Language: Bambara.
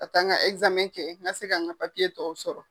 Ka taa n ka n ka se ka n ka papiye tɔw sɔrɔ.